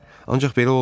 Ancaq belə olmurdu.